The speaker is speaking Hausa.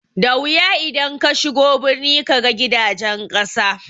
Da wuya idan kashigo birni kaga gidajen ƙasa